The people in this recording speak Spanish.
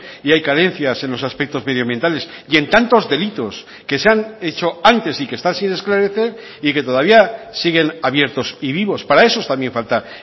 y hay carencias en los aspectos medioambientales y en tantos delitos que se han hecho antes y que están sin esclarecer y que todavía siguen abiertos y vivos para esos también falta